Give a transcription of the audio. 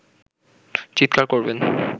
চিৎকার করবেন